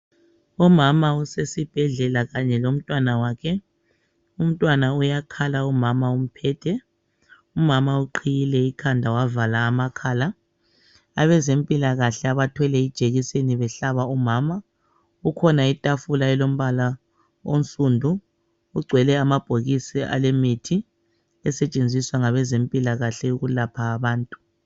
Umama usesibhedlela kanye lomntwana wakhe. Umntwana uyakhala umama umphethe. Umama uqhiyile ikhanda wavala amakhala. Abezempilakahle abathwele ijekiseni behlaba umama kukhona itafula elombala onsundu kugcwele amabhokisi alemithi esetshenziswa ngabezempilakahle ukulapha abantu.